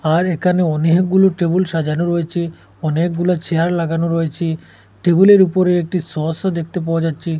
আর এখানে অনেকগুলো টেবুল সাজানো রয়েছে অনেকগুলা চেয়ার লাগানো রয়েছে টেবিলের উপরে একটি সসও দেখতে পাওয়া যাচ্ছে।